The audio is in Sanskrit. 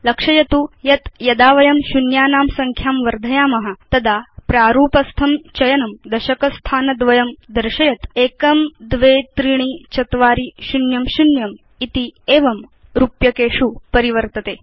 लक्षयतु यत् यदा वयं शून्यानां संख्यां वर्धयाम तदा प्रारूपस्थं चयनं दशक स्थानद्वयं दर्शयत् 123400 इति एवं रूप्यकेषु परिवर्तते